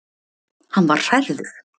Hann var hrærður.